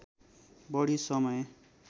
बढी समय